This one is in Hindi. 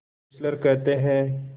फेस्लर कहते हैं